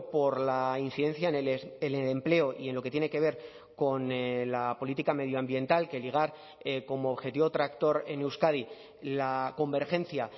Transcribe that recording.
por la incidencia en el empleo y en lo que tiene que ver con la política medioambiental que ligar como objetivo tractor en euskadi la convergencia